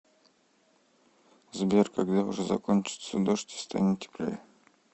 сбер когда уже закончится дождь и станет теплее